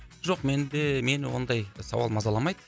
жоқ менде мені ондай сауал мазаламайды